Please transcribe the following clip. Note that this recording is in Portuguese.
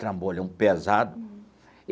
Trambolhão pesado.